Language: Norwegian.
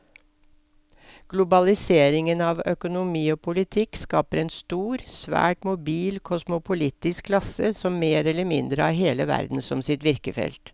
Globaliseringen av økonomi og politikk skaper en stor, svært mobil kosmopolitisk klasse som mer eller mindre har hele verden som sitt virkefelt.